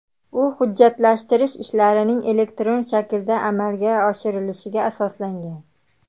U hujjatlashtirish ishlarining elektron shaklda amalga oshirilishiga asoslangan.